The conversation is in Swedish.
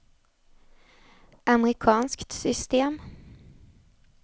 amerikanskt system